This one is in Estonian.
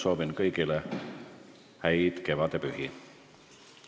Soovin kõigile head kevadpüha.